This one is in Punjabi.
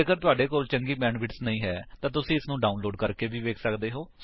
ਜੇਕਰ ਤੁਹਾਡੇ ਕੋਲ ਚੰਗੀ ਬੈਂਡਵਿਡਥ ਨਹੀਂ ਹੈ ਤਾਂ ਤੁਸੀ ਇਸਨੂੰ ਡਾਉਨਲੋਡ ਕਰਕੇ ਵੇਖ ਸੱਕਦੇ ਹੋ